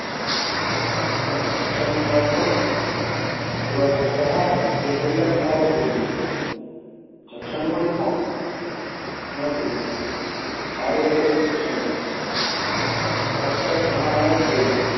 એમને જક્ષણીની વાત કહું? રેવાશંકરે હા પાડી તે પહેલાં મહારાજ બોલી ઊઠયા જક્ષણી કોણ? મેં કહ્યું મારે ઘેર એક જક્ષણી છે. સાક્ષાત્ મહામાયા જોઈ લો.